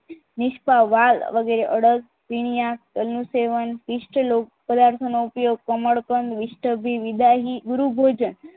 નિષ્પા વાર વગેરે અડલ સૈન્ય અનુસરણ ઇષ્ટ લોક પદાર્થોનો ઉપયોગ કમળ કંદ વિદાયની ગુરુ ભોજન